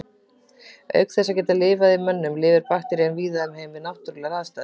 Auk þess að geta lifað í mönnum lifir bakterían víða um heim við náttúrulegar aðstæður.